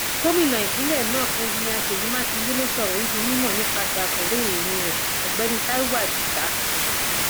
gomina ìpínlẹ náà enjinnnia ṣèyí makinde ló sọ ọrọ yìí di mímọ nípasẹ akọwé ìròyìn rẹ ọgbẹni taiwo adisa